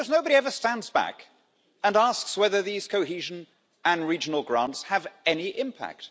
Almost nobody ever stands back and asks whether these cohesion and regional grants have any impact.